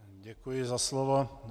Děkuji za slovo.